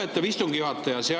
Lugupeetav istungi juhataja!